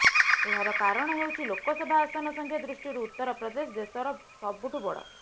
ଏହାର କାରଣ ହେଉଛି ଲୋକସଭା ଆସନ ସଂଖ୍ୟା ଦୃଷ୍ଟିରୁ ଉତ୍ତରପ୍ରଦେଶ ଦେଶର ସବୁଠୁ ବଡ଼